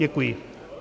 Děkuji.